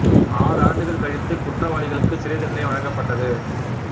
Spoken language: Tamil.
ஆறு ஆண்டுகள் கழித்து குற்றவாளிகளுக்குச் சிறைத் தண்டனை வழங்கப் பட்டது